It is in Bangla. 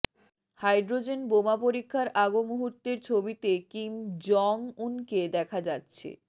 হাইড্রোজেন বোমা পরীক্ষার আগ মুহূর্তের ছবিতে কিম জং উনকে দেখা যাচ্ছে